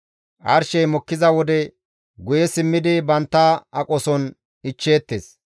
Arshey mokkiza wode guye simmidi bantta aqoson ichcheettes.